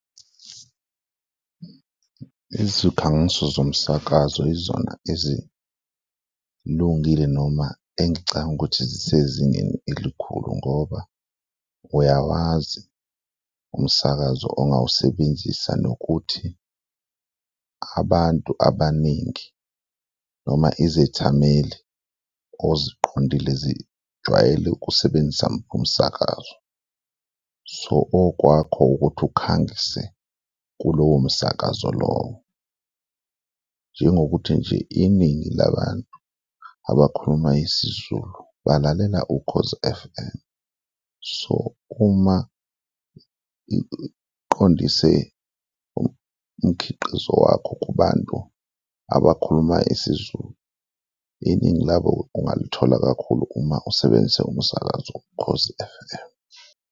Izikhangiso zomsakazo yizona ezilungile noma engicabanga ukuthi zisezingeni elikhulu ngoba uyawazi umsakazo ongawusebenzisa nokuthi abantu abaningi noma izethameli oziqondile zijwayele ukusebenzisa muphi umsakazo. So okwakho ukuthi ukhangise kulowo msakazo lowo, njengokuthi nje iningi labantu abakhuluma isiZulu balalela Ukhozi F_M, so uma iqondise umkhiqizo wakho kubantu abakhuluma isiZulu, iningi labo ungalithola kakhulu uma usebenzisa umsakazo Ukhozi F_M.